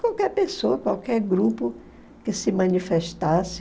Qualquer pessoa, qualquer grupo que se manifestasse